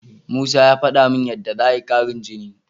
Musa ya faɗa min yadda za'a yi ƙarin jini.